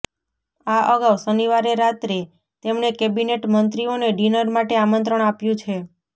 આ અગાઉ શનિવારે રાત્રે તેમણે કેબિનેટ મંત્રીઓને ડિનર માટે આમંત્રણ આપ્યું છે